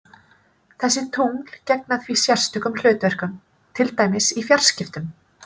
Þessi tungl gegna því sérstökum hlutverkum, til dæmis í fjarskiptum.